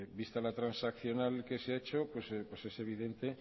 vista la transaccional que se ha hecho pues es evidente